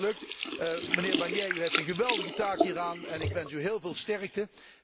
Ik hoop dat dat lukt, mijnheer Barnier, u heeft een geweldige taak hieraan en ik wens u heel veel sterkte.